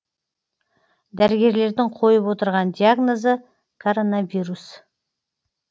дәрігерлердің қойып отырған диагнозы коронавирус